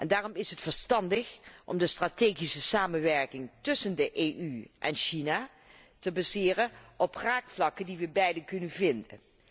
Daarom is het verstandig om de strategische samenwerking tussen de EU en China te baseren op raakvlakken die we beiden kunnen vinden.